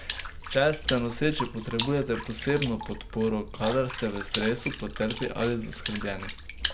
Če ste noseči, potrebujete posebno podporo, kadar se ste v stresu, potrti ali zaskrbljeni.